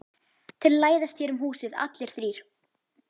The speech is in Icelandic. Þeir læðast hér um húsið allir þrír.